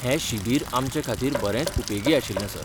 हें शिबीर आमचेखातीर बरेंच उपेगी आशिल्लें, सर.